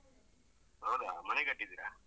ಹೌದಾ ಮನೆ ಕಟ್ಟಿದ್ದೀರಾ?